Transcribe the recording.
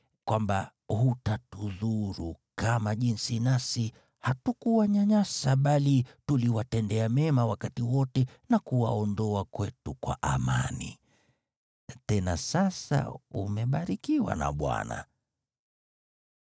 kwamba hutatudhuru, kama jinsi nasi hatukuwanyanyasa bali tuliwatendea mema wakati wote na kuwaondoa kwetu kwa amani. Tena sasa umebarikiwa na Bwana .’”